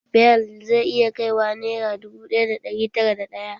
Bel zai iya kai wa nera ɗubu ɗaya da ɗari tara da ɗaya